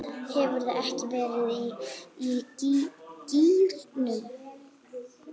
Hefurðu ekki verið í gírnum?